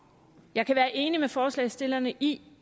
jeg kan være enig med forslagsstillerne i